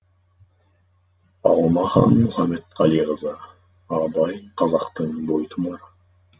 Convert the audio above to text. алмахан мұхаметқалиқызы абай қазақтың бойтұмары